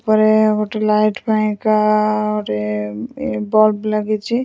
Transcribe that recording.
ଉପରେ ଗୋଟେ ଲାଇଟ ପାଇଁକା ଗୋଟେ ବଲବ୍ ଲାଗିଛି ।